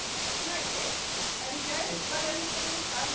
Auk þess hefur hann ekkert með hana að gera.